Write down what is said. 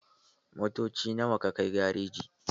Motoci nawa ka kai garejin?